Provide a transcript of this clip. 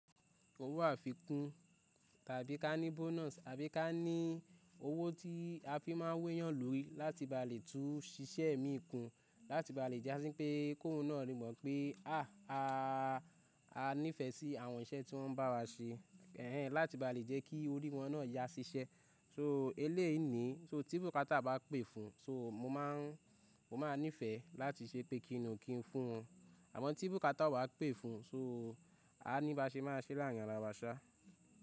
Owó àfikún tàbí ká ní bonus tàbí ká ní owó tí a fi máa ń wu ẹ́yàn lórí láti ba lè tún ṣiṣẹ́ mi kún, láti ba lè ja si a sín pé kóhún náà rí i mọ̀ pé há a ní ìfẹ́ sí àwọn iṣẹ́ tí wọ́n ń bá wa ṣe. Ẹ̀hẹ́n láti ba lè jẹ́ kí orí wọn náà yá ṣiṣẹ́. So eleyiií ni so tí bùkátà bá pè fún, so mo máa ń ní ìfẹ́ láti ṣe pé kí nù kí n fún wọn. Àmọ́ tí bùkátà ò bá pè fún, so a ní bá ṣe máa ṣẹ́ láàrín ara wa ṣá.